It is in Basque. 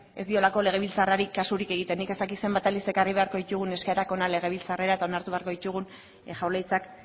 ez diolakolegebiltzarrari kasurik egiten nik ez dakit zenbat aldiz ekarri beharko ditugun eskaerak legebiltzarrera eta onartu beharko ditugun jaurlaritzak